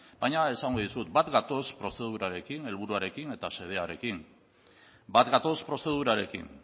baina esango dizut bat gatoz prozedurarekin helburuarekin eta xedearekin bat gatoz prozedurarekin